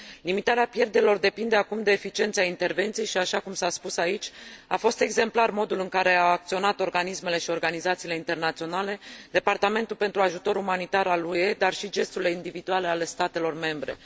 Limitarea pierderilor depinde acum de eficiența intervenției și, așa cum s a spus aici, a fost exemplar modul în care au acționat organismele și organizațiile internaționale, departamentul pentru ajutor umanitar al UE, dar și gesturile individuale ale statelor membre.